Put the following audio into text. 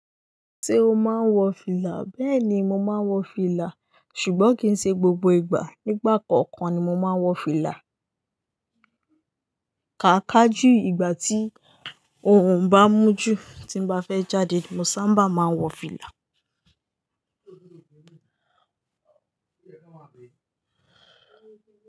Ṣé o máa ń wọ fìlà? Bẹ́ẹ̀ ni, mo máa ń wọ fìlà, ṣùgbọ́n kì í ṣe gbogbo ìgbà. Nígbà kọ̀ọ̀kan ni mo máa ń wọ fìlà. Kàká jù ìgbà tí oòrùn bá mú jù, tí mo bá fẹ́ jáde mo sábà máa ń wọ fìlà.